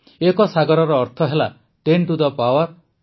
ଏକ ସାଗରର ଅର୍ଥ ହେଲା ଟେନ୍ ଟୁ ଦି ପାୱାର୍ ୫୭